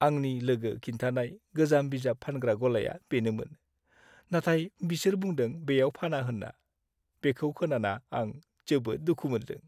आंनि लोगो खिन्थानाय गोजाम बिजाब फानग्रा गलाया बेनोमोन। नाथाय बिसोर बुंदों बेयाव फाना होनना। बेखौ खोनाना आं जोबोद दुखु मोनदों।